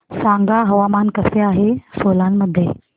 सांगा हवामान कसे आहे सोलान मध्ये